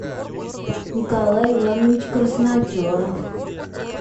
николай иванович красноперов